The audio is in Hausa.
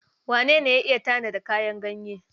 Wane ne ya iya tanada kayan ɗanye?